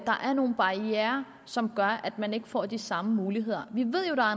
der er nogle barrierer som gør at man ikke får de samme muligheder vi ved jo at